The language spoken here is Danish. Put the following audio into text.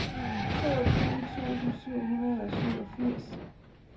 toogtyve tusind syv hundrede og syvogfirs